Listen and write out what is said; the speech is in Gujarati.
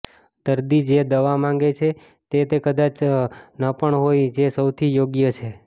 દર્દી જે દવા માંગે છે તે તે કદાચ ન પણ હોય જે સૌથી યોગ્ય છે